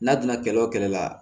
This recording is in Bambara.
N'a donna kɛlɛ o kɛlɛ la